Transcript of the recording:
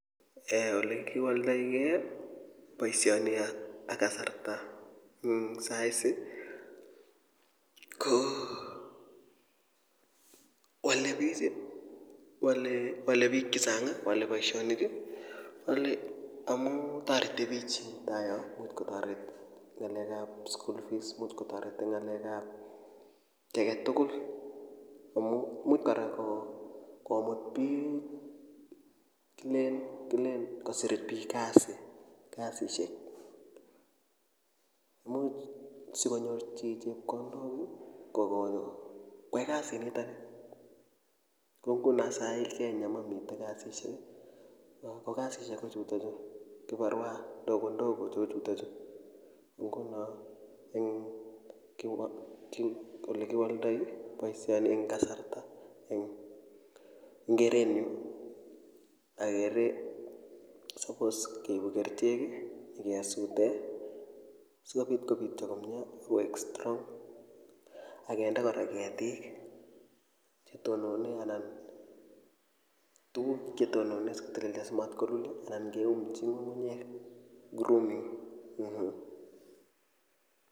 eeh ole kiwoldoigei boisioni ak kasarta ing saa hizi ko wale bich wale bik chechang wale boisionik ale amuu toreti biik eng tai yo ngotkotoret ngalekab school fees imuch kotoret eng ngalekab kiy aketugul amu imuch kora komut bik kilen kosir bik kasisiek. Imuch sikonyor chi chepkondok kokoai kasit nitok kou nguno saa hii kenya mamite kasisiek ako kasisiek kochutokchu kiparua ndogo ndogo cheu chutochu nguno eng kiwaldoi olekiwaldoi boisioni eng kasarta eng keretnyu akere suppose keibu kerchek kesute sikobit kobityo komye koek strong akende kora ketik chetonone anan tuguk chetonone simatkolulio anan keumchi ngungunyek grooming mmh.